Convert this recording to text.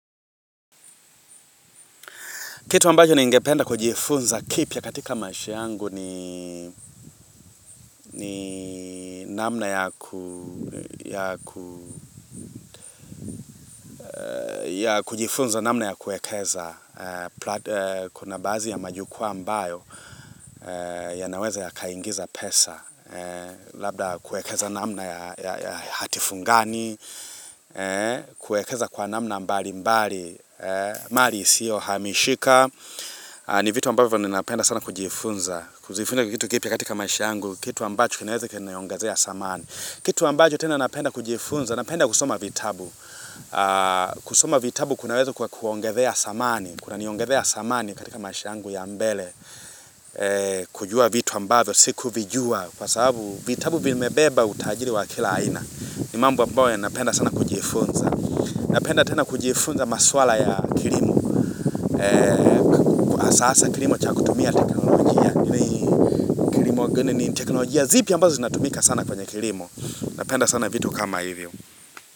Kitu ambajo ningependa kujifunza kipya katika maisha yangu ni namna ya kujifunza namna ya kuekeza. Kuna baazi ya majukwaa ambayo yanaweza yakaingiza pesa. Labda kuekeza namna ya hatifungani, kuekeza kwa namna mbali mbali. Mali isio hamishika. Ni vitu ambavyo ninapenda sana kujifunza. Kujifunza kitu kipya katika maish yangu, kitu ambacho kinaweza kikaniongazea samani. Kitu ambacho tena napenda kujifunza, napenda kusoma vitabu. Kusoma vitabu kunaweza kwa kuongethea samani, kuna niongathea samani katika maisha yangu ya mbele. Kujua vitu ambavyo, sikuvijua, kwa sababu vitabu vimebeba utajiri wa kila aina. Ni mambo ambayo yanapenda sana kujifunza. Napenda tena kujifunza maswala ya kilimo. Sasa kilimo cha kutumia teknolojia zipi ya ambazo zinatumika sana kwa kilimo Napenda sana vitu kama hivyo.